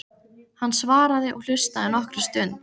Hann svaraði og hlustaði nokkra stund.